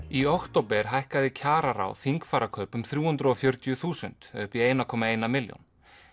í október hækkaði kjararáð þingfararkaup um þrjú hundruð og fjörutíu þúsund eða upp í eitt komma eina milljón